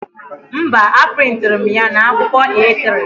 Mba, a prịntịrị m ya na akwụkwọ A3